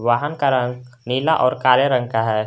वाहन का रंग नीला और काले रंग का है।